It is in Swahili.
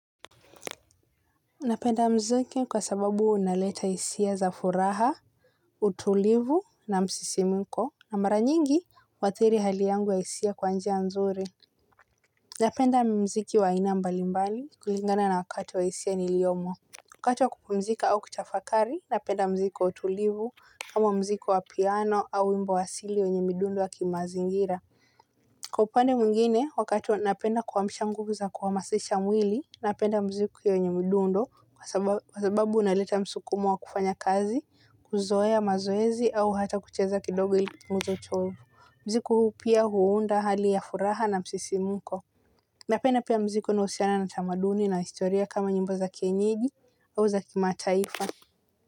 Napenda muziki kwa sababu unaleta hisia za furaha, utulivu na msisimiko na mara nyingi waathiri hali yangu ya hisia kwa njia nzuri. Napenda muziki wa aina mbali mbali kulingana na wakati wa hisia niliyomo. Wakati wa kupumzika au kutafakari napenda muziki wa utulivu kama muziki wa piano au wimbo wa asili wenye midundo wa kimazingira. Kwa upande mwingine, wakati napenda kuamsha nguvu za kuhamasisha mwili, napenda muziku yenye mdundo kwa sababu unaleta msukumo wa kufanya kazi, kuzoea mazoezi au hata kucheza kidogo ili kupunguza uchovu. Muziku huu pia huunda hali ya furaha na msisimuko. Napenda pia muziki unaohusiana na tamaduni na historia kama nyimbo za kienyeji au za kimataifa.